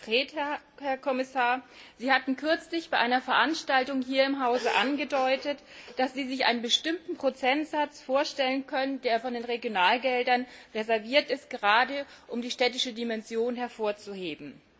Ganz konkret, Herr Kommissar Sie hatten kürzlich bei einer Veranstaltung hier im Hause angedeutet, dass Sie sich einen bestimmten Prozentsatz vorstellen können, der von den Regionalgeldern reserviert ist, gerade um die städtische Dimension hervorzuheben.